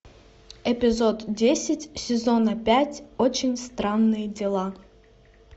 эпизод десять сезона пять очень странные дела